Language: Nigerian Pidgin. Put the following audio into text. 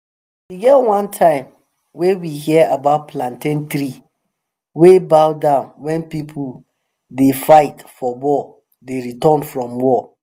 e get one time wey we hear about plantain tree wey bow down wen people wey dey fight for war dey return from war